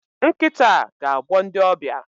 Nkita a ga-agbọ ndị ọbịa